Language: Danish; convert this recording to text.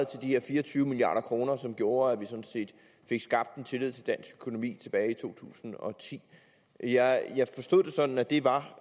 de her fire og tyve milliard kr som gjorde at vi sådan set fik skabt en tillid til dansk økonomi tilbage i to tusind og ti jeg jeg forstod det sådan at det var